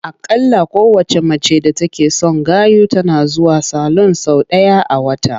Aƙalla kowacce mace d atake son gayu tana zuwa salun sau ɗaya a wata.